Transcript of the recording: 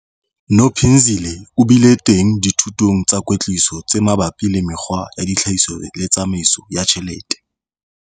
Nophinzile o bile teng dithutong tsa kwetliso tse mabapi le mekgwa ya tlhahiso le tsamaiso ya ditjhelete.